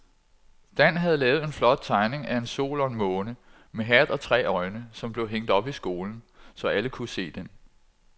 Dan havde lavet en flot tegning af en sol og en måne med hat og tre øjne, som blev hængt op i skolen, så alle kunne se den.